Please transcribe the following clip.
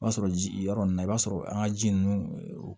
O b'a sɔrɔ ji yɔrɔ ninnu na i b'a sɔrɔ an ka ji ninnu